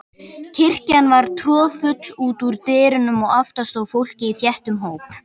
Kirkjan var troðfull út úr dyrum og aftast stóð fólkið í þéttum hóp.